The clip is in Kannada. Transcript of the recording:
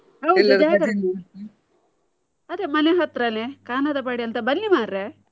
ಜಾಗರಣೆ ಅದೇ ಮನೆ ಹತ್ರಾನೇ ಕಾನರಪಾಡಿ ಅಂತ ಬನ್ನಿ ಮಾರೇ?